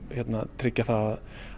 tryggja það